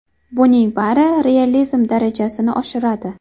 Buning bari realizm darajasini oshiradi.